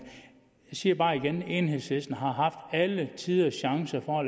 siger bare igen enhedslisten har haft alletiders chance for